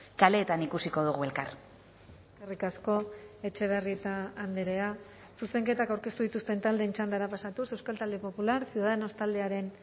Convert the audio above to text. kaleetan ikusiko dugu elkar eskerrik asko etxebarrieta andrea zuzenketak aurkeztu dituzten taldeen txandara pasatuz euskal talde popular ciudadanos taldearen